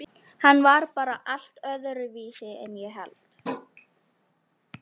Hann var bara allt öðruvísi en ég hélt.